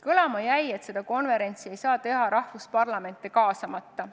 Kõlama jäi, et seda konverentsi ei saa teha riikide parlamente kaasamata.